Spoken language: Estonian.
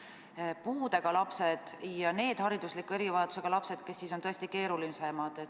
Meil on puudega lapsed ja muud haridusliku erivajadusega lapsed, kes on tõesti keerulisemad.